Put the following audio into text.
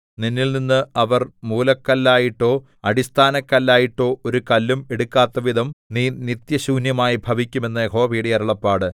നിന്നിൽനിന്ന് അവർ മൂലക്കല്ലായിട്ടോ അടിസ്ഥാനക്കല്ലായിട്ടോ ഒരു കല്ലും എടുക്കാത്തവിധം നീ നിത്യശൂന്യമായി ഭവിക്കും എന്ന് യഹോവയുടെ അരുളപ്പാട്